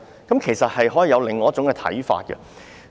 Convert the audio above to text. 就此，其實可以有另一種看法。